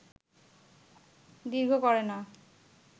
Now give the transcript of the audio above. দীর্ঘ করে না